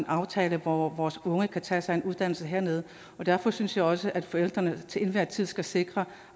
aftale hvor vores unge kan tage sig en uddannelse hernede og derfor synes jeg også at forældrene til enhver tid skal sikre